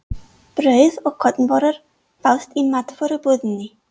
Brauð og kornvörur fást í matvörubúðinni.